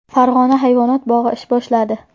Farg‘ona hayvonot bog‘i ish boshladi.